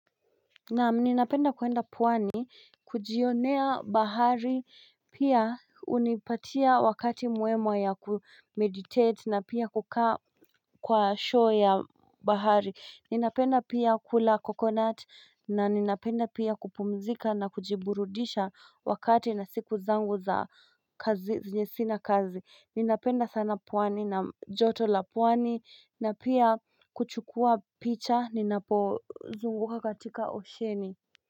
Naam ninapenda kwenda pwani, kujionea bahari, pia hunipatia wakati mwemwe ya ku kumeditate na pia kukaa kwa show ya bahari. Ninapenda pia kula coconut na ninapenda pia kupumzika na kujiburudisha wakati na siku zangu za kazi, zenye sina kazi. Ninapenda sana pwani na joto la pwani na pia kuchukua picha ninapozunguka katika osheni.